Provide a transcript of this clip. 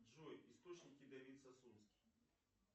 джой источники давид сосунский